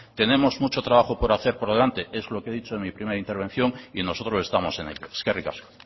tenemos mucho trabajo por hacer por delante es lo que he dicho en mi primera intervención y nosotros estamos en ello eskerrik asko